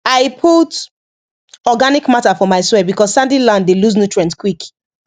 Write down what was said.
i put organic matter for my soil because sandy land dey lose nutrient quick